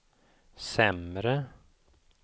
sämre